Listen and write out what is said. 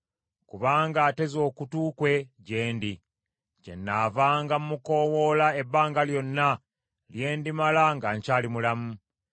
Kubanga ateze okutu kwe gye ndi, kyennaavanga mmukoowoola ebbanga lyonna lye ndimala nga nkyali mulamu.